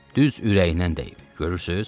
Düz ürəyinə dəyib, görürsüz?